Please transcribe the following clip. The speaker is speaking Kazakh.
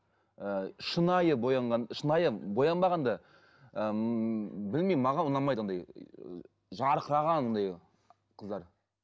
і шынайы боянған шынайы боянбаған да ы ммм білмеймін маған ұнамайды ондай жарқыраған ондай қыздар